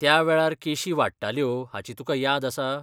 त्या वेळार केशी वाडटाल्यो हाची तुका याद आसा?